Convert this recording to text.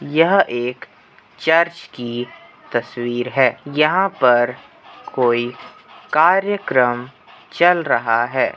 यह एक चर्च की तस्वीर है। यहाँ पर कोई कार्यक्रम चल रहा है।